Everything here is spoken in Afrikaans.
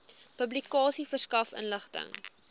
publikasie verskaf inligting